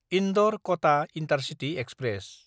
इन्दर–कटा intercity express